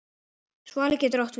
Svali getur átt við